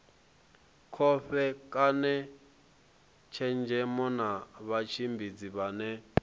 kovhekane tshenzhemo na vhatshimbidzi vhane